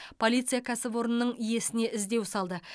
полиция кәсіпорынның иесіне іздеу салды